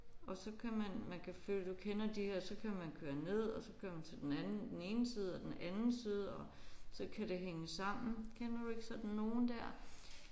Og så kan man man kan følge du kender de her så kan man køre ned og så kører man til den anden den ene side og den anden side og så kan det hænge sammen. Kender du ikke sådan nogen der?